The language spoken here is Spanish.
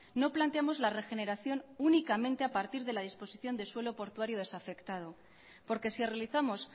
no planteamos la regeneración únicamente a partir de la disposición de suelo portuario desafectado porque si realizamos